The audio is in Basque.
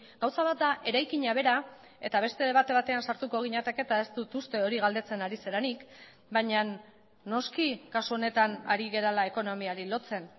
gauza bat da eraikina bera eta beste debate batean sartuko ginateke eta ez dut uste hori galdetzen ari zarenik baina noski kasu honetan ari garela ekonomiari lotzen